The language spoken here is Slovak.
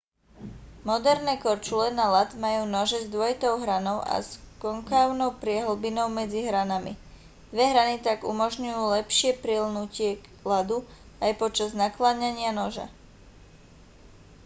moderné korčule na ľad majú nože s dvojitou hranou a s konkávnou priehlbinou medzi hranami dve hrany tak umožňujú lepšie priľnutie k ľadu aj počas nakláňania noža